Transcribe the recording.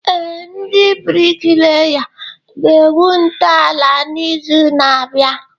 Ee, ndị bricklayers ga-egwu ntọala n'izu na-abịa